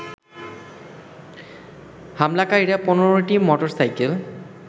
হামলাকারীরা ১৫টি motor cycle